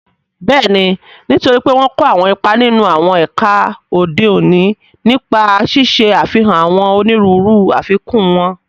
Bẹ́ẹ̀ni, nítorí pé wọ́n n kó àwọn ipa nínú àwọn ẹ̀ka òde òní, nípa ṣíṣe àfihàn àwọn onírúurú àfikún wọn